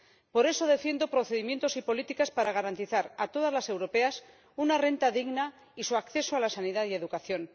Por eso defiendo procedimientos y políticas para garantizar a todas las europeas una renta digna y su acceso a la sanidad y la educación.